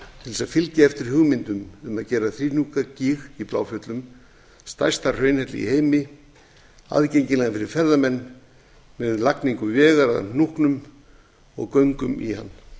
til að fylgja eftir hugmyndum um að gera þríhnúkagíg í bláfjöllum stærsta hraunhelli í heimi aðgengilegan fyrir ferðamenn með lagningu vegar að hnúknum og göngum í hann